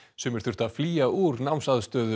sumir þurftu að flýja úr námsaðstöðu